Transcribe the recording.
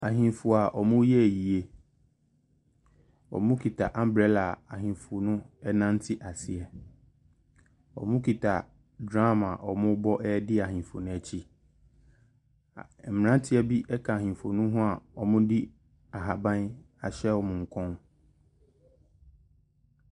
Ahenfo a ɔmo yɛ ayie. Ɔmo kita ambrɛla a ahenfo no nante aseɛ. Ɔmo kita dram a ɔmo bɔ adi ahenfo n'akyi. Mmranteɛ bi ɛka ahenfo no ho a ɔmo de ahaban ahyɛ ɔmo kɔn.